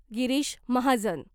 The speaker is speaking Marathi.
गिरीष महाजन